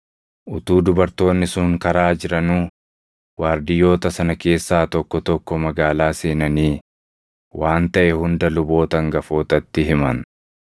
Utuu dubartoonni sun karaa jiranuu waardiyyoota sana keessaa tokko tokko magaalaa seenanii waan taʼe hunda luboota hangafootatti himan.